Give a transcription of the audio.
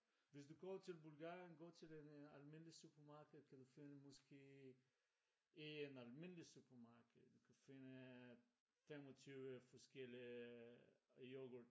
Hvis du kommer til Bulgarien gå til det almindelige supermarkede kan du finde måske i et almindeligt supermarkede du kan finde 25 forskellige yoghurt